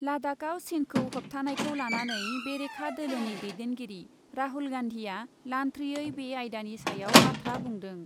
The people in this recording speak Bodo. लाडाखआव चिनखौ होबथानायखौ लानानै बेरेखा दोलोनि दैदेनगिरि राहुल गान्धिआ लान्थ्रियै बे आयदानि सायाव बाथ्रा बुंदों ।